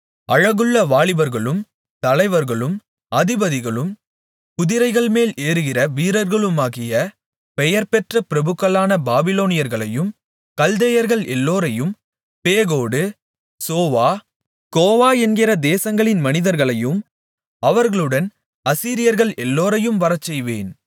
அழகுள்ள வாலிபர்களும் தலைவர்களும் அதிபதிகளும் குதிரைகள்மேல் ஏறுகிற வீரர்களுமாகிய பெயர்பெற்ற பிரபுக்களான பாபிலோனியர்களையும் கல்தேயர்கள் எல்லோரையும் பேகோடு சோவா கோவா என்கிற தேசங்களின் மனிதர்களையும் அவர்களுடன் அசீரியர்கள் எல்லோரையும் வரச்செய்வேன்